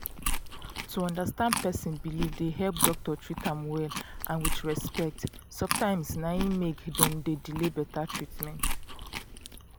to understand person believe dey help doctor treat am well and with respect sometimes na im make dem de delay better treatment